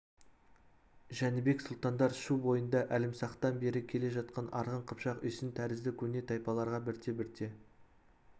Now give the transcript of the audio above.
жәнібек сұлтандар шу бойында әлімсақтан бері келе жатқан арғын қыпшақ үйсін тәрізді көне тайпаларға бірте-бірте